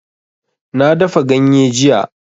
Na dafa ganye jiya